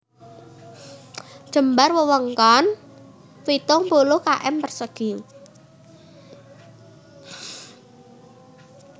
Jembar wewengkon pitung puluh km persegi